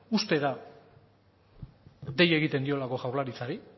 uztera dei egiten diolako jaurlaritzari